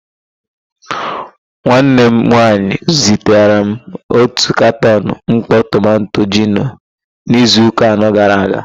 Nwanne m nwanyị zitere m otu katọn mkpọ tomanto gino n'izuụka anọ gara aga.